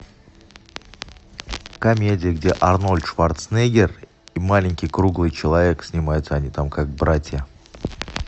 комедия где арнольд шварценеггер и маленький круглый человек снимаются они там как братья